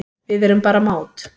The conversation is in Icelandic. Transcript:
Við erum bara mát